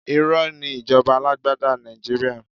Irọ́ ni ìjọba alágbádá Nàìjíríà.